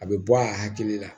A bɛ bɔ a hakili la